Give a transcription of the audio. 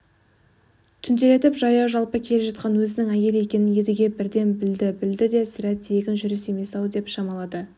түнделетіп жаяу-жалпы келе жатқан өзінің әйелі екенін едіге бірден білді білді де сірә тегін жүріс емес-ау деп шамалады